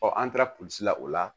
an taara polisi la o la